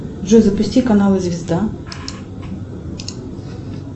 джой запусти канал звезда